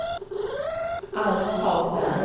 Alf Hagberg